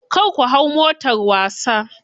Kar ku hau motar wasa.